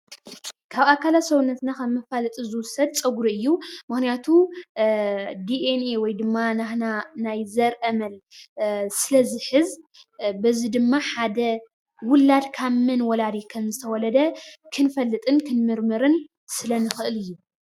ካብ ኣካላት ሰውነትና ኸም መፋለጢ ዝውሰድ ፀጉሪ እዩ። ምክንያቱ ዲኤንኤ ወይ ድማ ናትና ናይ ዘርአ መን ስለ ዝሕዝ በዚ ድማ ሓደ ዉላድ ካብ መን ወላዲ ከም ዝተወለደ ክንፈልጥን ክንምርምርን ስለ ንኽእል እዩ።